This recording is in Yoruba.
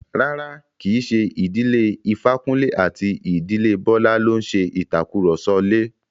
Rárá, kí í ṣe ìdílé Ifákúnlé àti ìdílé Bọ́lá ló ń ṣe ìtàkurọ̀sọ lè.